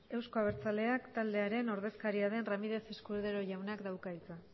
eusko abertzaleak taldearen ordezkaria den ramírez escudero jaunak dauka hitza